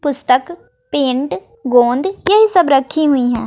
पुस्तक पेंट गोंद यही सब रखी हुई है।